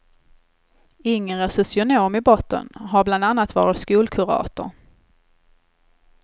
Inger är socionom i botten och har bland annat varit skolkurator.